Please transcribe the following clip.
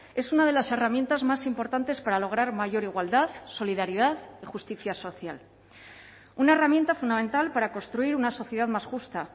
es una de las herramientas más importantes para lograr mayor igualdad solidaridad y justicia social una herramienta fundamental para construir una sociedad más justa